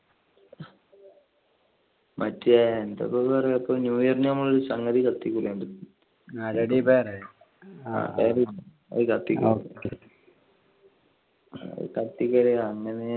മറ്റേ എന്താ ഇപ്പൊ പറയാ new year നു നമ്മൾ ഒരു സംഗതി കത്തികുലേആ അത് കത്തിക്കല്